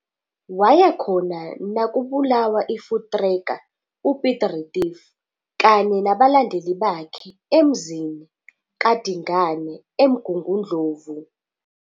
Wayekhona nakubulawa iVoortrekker, uPiet Retief, kanye nabalandeli bakhe emzini kaDingane eMgungundlovu.